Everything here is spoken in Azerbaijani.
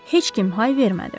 Heç kim hay vermədi.